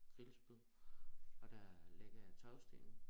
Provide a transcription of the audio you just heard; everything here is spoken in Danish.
Grillspyd og der lægger jeg tagstenene